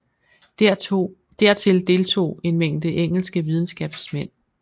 Dertil deltog en mængde engelske videnskabsmænd